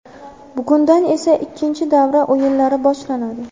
Bugundan esa ikkinchi davra o‘yinlari boshlanadi.